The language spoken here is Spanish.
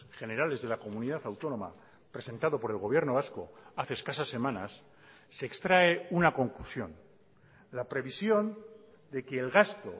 generales de la comunidad autónoma presentado por el gobierno vasco hace escasas semanas se extrae una conclusión la previsión de que el gasto